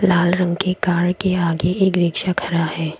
लाल रंग की कार के आगे एक रिक्शा खड़ा है।